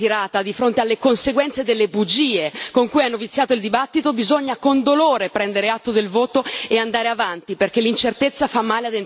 fronte alle conseguenze delle bugie con cui hanno viziato il dibattito, bisogna, con dolore, prendere atto del voto e andare avanti, perché l'incertezza fa male ad entrambe le parti.